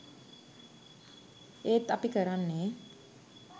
ඒත් අපි කරන්නේ